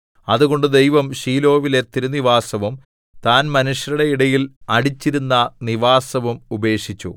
അതുകൊണ്ട് ദൈവം ശീലോവിലെ തിരുനിവാസവും താൻ മനുഷ്യരുടെ ഇടയിൽ അടിച്ചിരുന്ന നിവാസവും ഉപേക്ഷിച്ചു